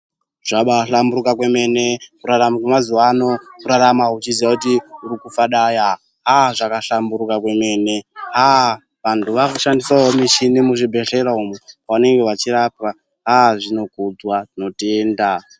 Zvabahlamburuka kwemene kurarama wemazuva ano kurarama weifadaya aa zvabahlamburuka kwemene haa vantu vakushandisawo michini muzvibhedhlera umu panenge pachirapwa haa zvinokudzwa tinotenda.